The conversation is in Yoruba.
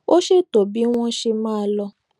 ó ṣètò bí wón yóò ṣe máa lọ